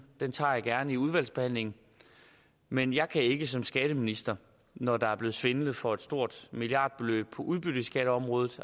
den tager jeg gerne i udvalgsbehandlingen men jeg kan ikke som skatteminister når der er blevet svindlet for et stort milliardbeløb på udbytteskatteområdet